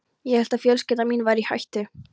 Ég hélt að fjölskylda mín væri í hættu.